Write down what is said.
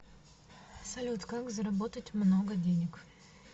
салют как заработать много денег